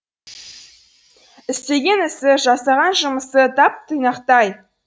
істеген ісі жасаған жұмысы тап тұйнақтай